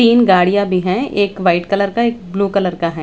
तीन गाड़ियाँ भी हैं एक व्हाइट कलर का एक ब्लू कलर का हैं।